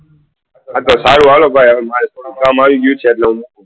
હા તો સારું હાલો ભાઈ મારે થોડું કામ આવી ગયું છે એટલે હું